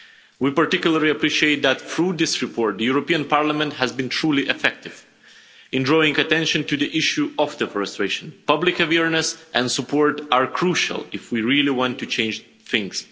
We particularly appreciate that through this report, the European Parliament has been truly effective in drawing attention to the issue of deforestation. Public awareness and support are crucial if we really want to change things.